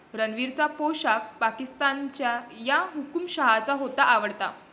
रणवीरचा पोशाख पाकिस्तानच्या 'या' हुकूमशहाचा होता आवडता